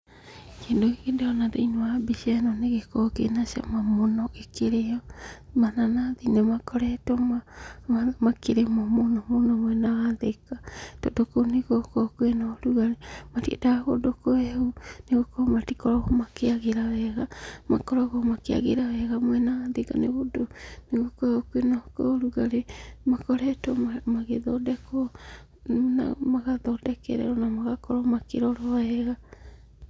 Kĩndũ gĩkĩ ndĩrona thĩinĩ wa mbica ĩno nĩgĩkoragwo kĩna cama mũno gĩkĩrĩo, mananathi nĩmakoretwo makĩrĩmwo mũno mũno mwena wa Thĩka, tondũ kũu nĩgũkoragwo kwĩna ũrugarĩ, matiendaga kũndũ kũhehu, nĩgũkorwo matikoragwo makĩagĩra wega, makoragwo makĩagĩra wega mwena wa thĩka nĩũndũ nĩgũkoragwo kwĩna ũrugarĩ, makoretwo magĩthondekwo, magathondekerwo na magakorwo makĩrorwo wega.